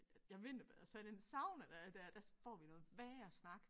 Jeg vinterbader så i den sauna der er der der får vi noget værre snak